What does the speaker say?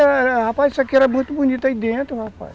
Rapaz, isso aqui era muito bonito aí dentro, rapaz.